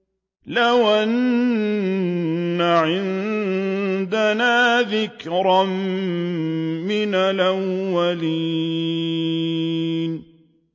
لَوْ أَنَّ عِندَنَا ذِكْرًا مِّنَ الْأَوَّلِينَ